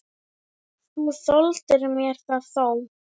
Þú þoldir mér það þó.